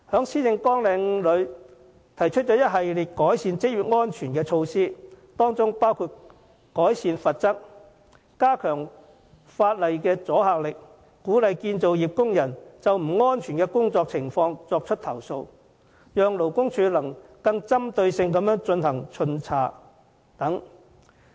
施政報告提出一系列改善職業安全的措施，當中包括提高罰則，加強法例的阻嚇力，並鼓勵建造業工人舉報不安全的工作情況，讓勞工處得以更針對性地巡查等。